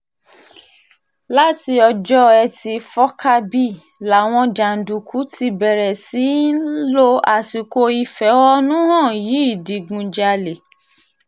láti ọjọ́ etí furcabee làwọn jàǹdùkú ti bẹ̀rẹ̀ sí í lo àsìkò ìfẹ̀hónú hàn yìí digunjalè